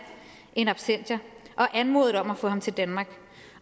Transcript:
in absentia og anmodet om at få ham til danmark